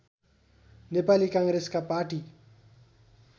नेपाली काङ्ग्रेसका पार्टी